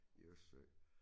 I æ Østersø